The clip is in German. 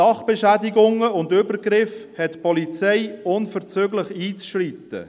Bei Sachbeschädigungen und Übergriffen hat die Polizei unverzüglich einzuschreiten.